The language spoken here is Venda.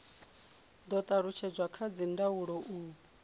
do talutshedzwa kha dzindaulo u